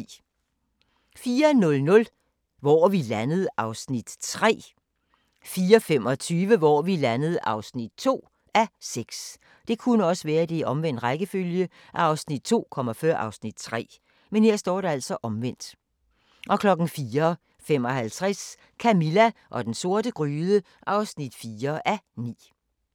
04:00: Hvor er vi landet? (3:6) 04:25: Hvor er vi landet? (2:6) 04:55: Camilla og den sorte gryde (4:9)